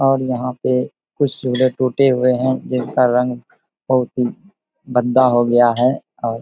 और यहाँ पे कुछ टूटे हुए हैं जिसका रंग बहुत ही गंदा हो गया है और --